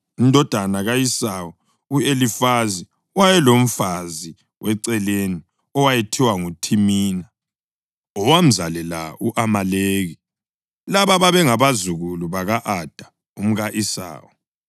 Indodana ka-Esawu u-Elifazi wayelomfazi weceleni owayethiwa nguThimina, owamzalela u-Amaleki. Laba babengabazukulu baka-Ada umka-Esawu.